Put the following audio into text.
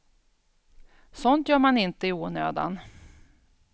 Sånt gör man inte i onödan.